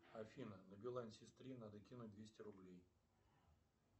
афина на билайн сестре надо кинуть двести рублей